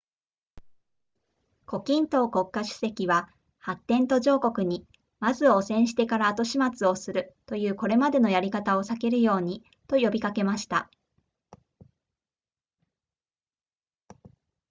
胡錦濤国家主席は発展途上国にまず汚染してから後始末をするというこれまでのやり方を避けるようにと呼びかけました